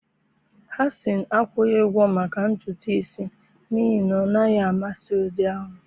Hasan akwụghị ụgwọ maka ntutu isi n'ihi na ọ naghị amasị ụdị ahụ